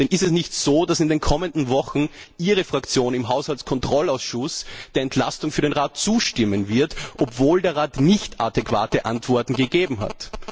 Denn ist es nicht so, dass in den kommenden Wochen Ihre Fraktion im Haushaltskontrollausschuss der Entlastung des Rates zustimmen wird, obwohl der Rat nichtadäquate Antworten gegeben hat?